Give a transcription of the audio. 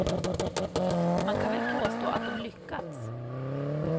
Man kan väl på stå att de lyckats.